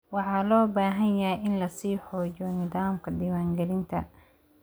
Waxa loo baahan yahay in la sii xoojiyo nidaamka diiwaangelinta.